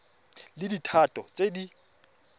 di le tharo tse di